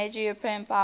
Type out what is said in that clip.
major european power